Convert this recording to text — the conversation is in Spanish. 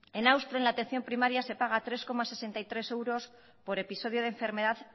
en austria en la atención primaria se paga tres coma sesenta y tres euros por episodio de enfermedad